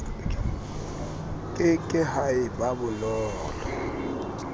ke ke ha eba bonolo